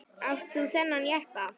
Átt þú þennan jeppa?